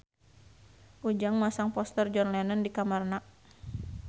Ujang masang poster John Lennon di kamarna